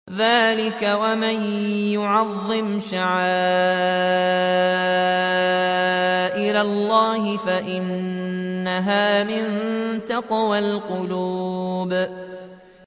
ذَٰلِكَ وَمَن يُعَظِّمْ شَعَائِرَ اللَّهِ فَإِنَّهَا مِن تَقْوَى الْقُلُوبِ